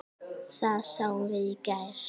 Það sáum við í gær.